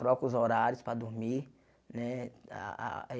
Troca os horários para dormir, né? Ah ah